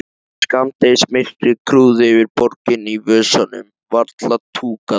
Skammdegismyrkrið grúfði yfir borginni, í vösunum varla túkall.